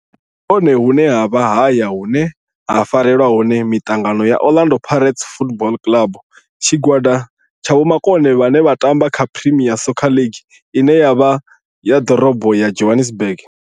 Ndi hone hune havha haya hune ha farelwa hone mitangano ya Orlando Pirates Football Club. Tshigwada tsha vhomakone vhane vha tamba kha Premier Soccer League ine ya vha ḓorobo ya Johannesburg.